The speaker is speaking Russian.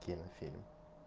кинофильм